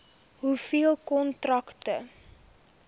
hoeveel kontrakte